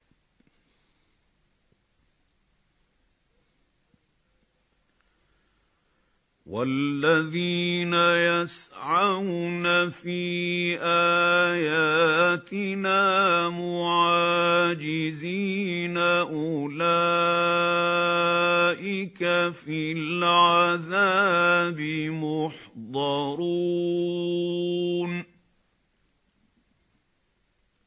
وَالَّذِينَ يَسْعَوْنَ فِي آيَاتِنَا مُعَاجِزِينَ أُولَٰئِكَ فِي الْعَذَابِ مُحْضَرُونَ